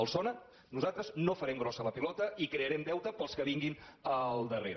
els sona nosaltres no farem grossa la pilota i crearem deute per als que vinguin al darrere